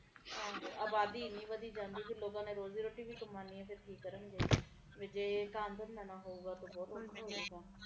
ਅਬਾਦੀ ਵੀ ਇੰਨੀ ਵਧੀ ਜਾਂਦੀ ਕਿ ਲੋਕਾਂ ਨੇ ਰੋਜ਼ੀ ਰੋਟੀ ਵੀ ਕਮਾਉਣੀ ਲੋਕੀ ਕਿ ਕਰਨਗੇ ਜੇ ਕੰਮ ਧੰਦਾ ਨਾ ਹੋਊਗਾ ਤਾ ਫਿਰ ਬਹੁਤ ਔਖਾ ਹੋਊਗਾ